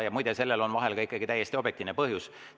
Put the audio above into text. Ja muide, sellel on vahel ka ikkagi täiesti objektiivne põhjus.